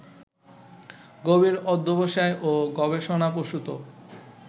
গভীর অধ্যবসায় ও গবেষণাপ্রসূত